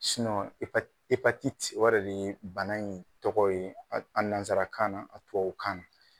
o yɛrɛ de ye bana in tɔgɔ ye nanzara kan na , a tubabu kan na.